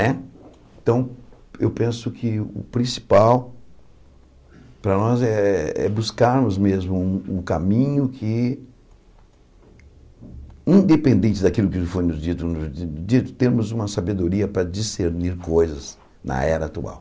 Né então, eu penso que o principal para nós é é buscarmos mesmo um caminho que, independente daquilo que foi nos dito dito, temos uma sabedoria para discernir coisas na era atual.